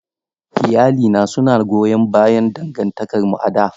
Iyalina suna goyon bayan dangantakarmu a da.